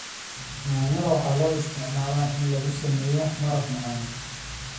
Yaanyada waxaa loo isticmaalaa in lagu sameeyo maraq macaan.